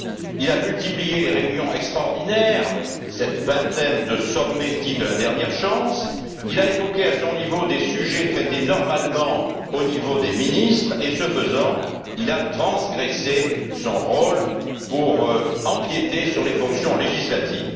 Il a multiplié les réunions extraordinaires cette vingtaine de sommets dits de la dernière chance il a évoqué, à son niveau, des sujets traités normalement au niveau des ministres et, ce faisant, il a transgressé son rôle pour empiéter sur les fonctions législatives.